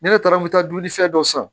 Ne taara n bɛ taa dumuni fɛn dɔ san